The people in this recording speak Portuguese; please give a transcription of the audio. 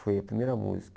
Foi a primeira música.